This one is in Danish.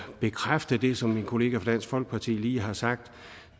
bekræfte det som min kollega fra dansk folkeparti lige har sagt